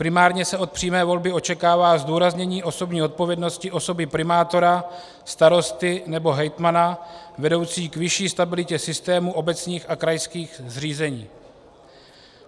Primárně se od přímé volby očekává zdůraznění osobní odpovědnosti osoby primátora, starosty nebo hejtmana vedoucí k vyšší stabilitě systému obecních a krajských zřízení.